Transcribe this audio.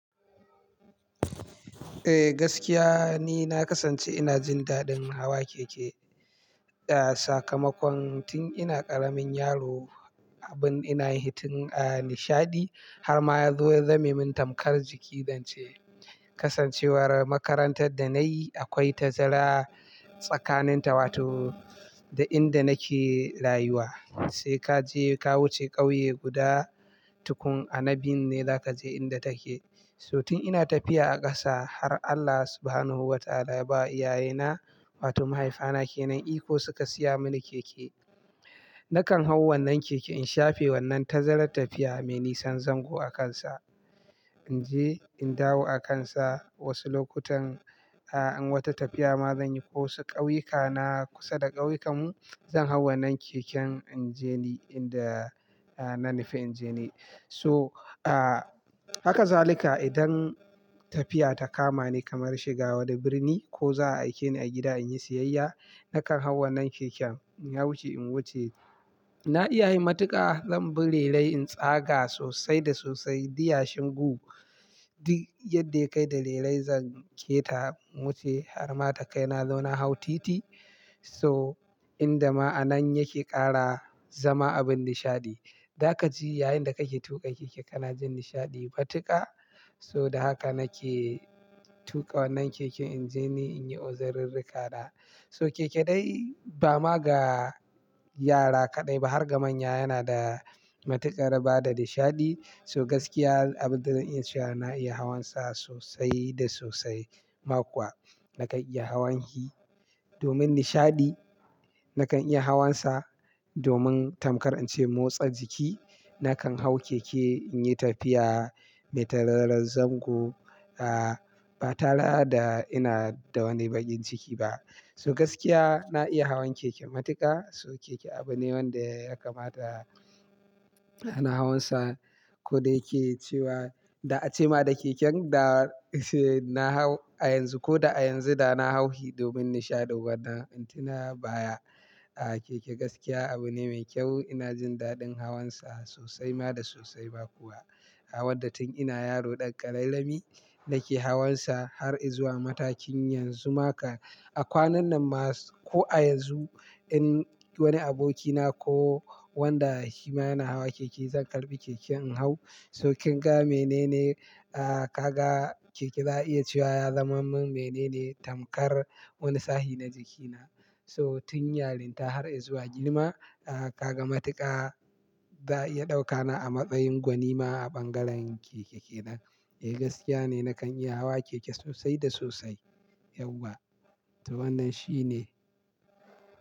Eh gaskiya ni, na kasance ina jin daɗin hawa keke, ah sakamakon tun ina ƙaramin yaro abin ina hitun nishaɗi har ma zuwa zamimin tamkar jiki zance. Kasancewar makarantar da nayi akwai tazara tsakanin ta wato da inda nake rayuwa, sai kaje ka wuce ƙauye guda tukun a na biyu ne zaka je inda take. So tun ina tafiya a ƙasa har Allah Subhanahu wa Ta'ala ya ba iyaye na wato mahaifiya na ke nan iko suka siya mani keke. Nakan hau wannan keken in shafe wannan tazarar tafiya mai nisan zango a kansa, in je in dawo akansa. Wasu lokutan, ah in wata tafiya ma zan yi ko wasu ƙauyuka na kusa da ƙauyen mu, zan hau wannan keken in je ni inda na nife in je ni. So ah haka zalika idan tafiya ta kama ni kamar shiga wani birni ko za a aike ni a gida in yi siyayya, nakan hau wannan keken in wuce in wuce. Na iya yin matuƙa, zan bi rerayi in tsaga sosai da sosai diyashin gu. Duk yadda yakai da rerayi zan keta, in wuce har ma takai na zo na hau titi. So inda ma'anan yake ƙara zama abin nishaɗi. Dakaci yayinda kake tuka keke kana jin nishaɗi batuka. So da haka nake tuka wannan keke in je ni in yi uzururrurika na. So keke dai ba ma ga yara kaɗai ba har ga manya yana da matuƙar bada nishaɗi. So gaskiya abin da ina sha yana iya hawan sa sosai da sosai ma kuwa nakan iya hawan hi. Domin nishaɗi nakan iya hawan sa, domin tamkar in ce motsa jiki nakan hau keke in yi tafiya mai tararren zango, ah ba tara da ina da wani baƙin ciki ba. So gaskiya na iya hawan keke matuƙa. So keke abu ne wanda yakamata a na hawan sa. Ko da yake cewa, da ace ma da keken da sai na hau a yanzu ko da a yanzu da na hau shi domin nishaɗi wadan in tuna baya. Keke gaskiya abu ne mai kyau. Ina jin daɗin hawan sa sosai ma da sosai ba kuwa. Hawan da tun ina yaro ɗan ƙararrami nake hawan sa har izuwa matakin yanzu ma kan. A kwanan nan ma ko a yanzu in wani aboki na ko wanda shi ma yana hawa keke, zan karɓi keke in hau. So kin ga menene, ah kaga keke za'a iya cewa ya zama min menene tamkar wani sahi na jikina. So tun yarinta har izuwa girma, ah kaga matuƙa za'a iya ɗaukana a matsayin gwanima a ɓangaren keke ke nan. Eh gaskiya ne nakan iya hawa keke sosai da sosai. Yauwa to wannan shine.